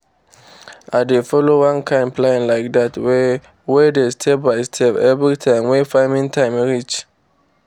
i dey follow one kind plan like dat wey wey dey step by step everytime wey farming time reach.